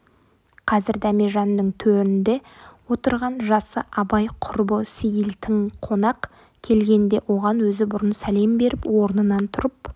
қазір дәмежанның төрінде отырған жасы абай құрбы сейіл тың қонақ келгенде оған өзі бұрын сәлем беріп орнынан тұрып